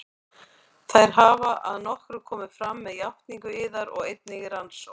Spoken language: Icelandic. Þær hafa að nokkru komið fram með játningu yðar og einnig í rannsókn